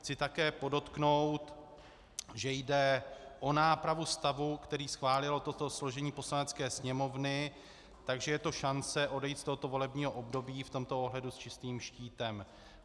Chci také podotknout, že jde o nápravu stavu, který schválilo toto složení Poslanecké sněmovny, takže je to šance odejít z tohoto volebního období v tomto ohledu s čistým štítem.